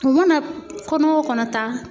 U mana kɔnɔ o kɔnɔ ta